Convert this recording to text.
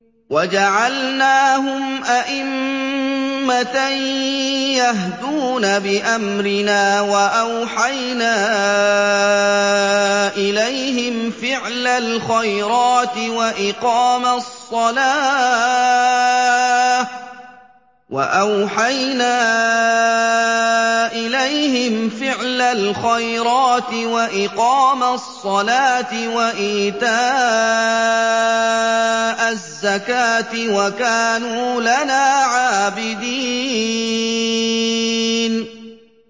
وَجَعَلْنَاهُمْ أَئِمَّةً يَهْدُونَ بِأَمْرِنَا وَأَوْحَيْنَا إِلَيْهِمْ فِعْلَ الْخَيْرَاتِ وَإِقَامَ الصَّلَاةِ وَإِيتَاءَ الزَّكَاةِ ۖ وَكَانُوا لَنَا عَابِدِينَ